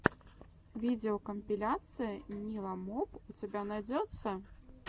видеокомпиляция ниламоп у тебя найдется